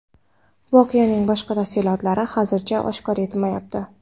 Voqeaning boshqa tafsilotlari hozircha oshkor etilmayapti.